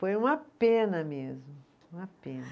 Foi uma pena mesmo, uma pena.